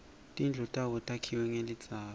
tindlu tabo takhiwe ngelidzaka